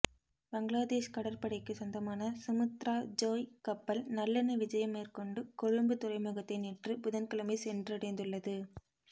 பங்களாதேஷ் கடற்படைக்குச் சொந்தமான சுமுத்ரா ஜோய் கப்பல் நல்லெண்ண விஜயம் மேற்கொண்டு கொழும்புத் துறைமுகத்தை நேற்று புதன்கிழமை சென்றடைந்துள்ளது